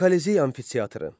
Kolizey amfiteatrı.